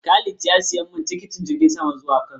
Khalid ya siya min tikitin jirgin sama zuwa Kano